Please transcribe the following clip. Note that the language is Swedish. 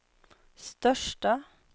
största